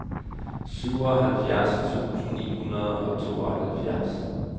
syvoghalvfjerds tusind ni hundrede og tooghalvfjerds